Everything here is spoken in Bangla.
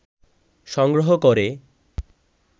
সংগ্রহ করে